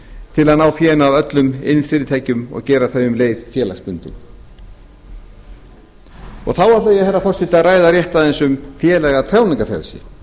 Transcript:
til að ná fénu af öllum iðnfyrirtækjum og gera þau um leið félagsbundin þá ætla ég herra forseti að ræða rétt aðeins um félaga og tjáningarfrelsi